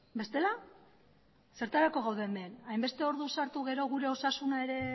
bestela zertarako gaude hemen hainbeste ordu sartu gero gure osasuna ere